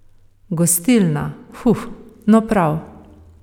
Gostilna, hu, no prav.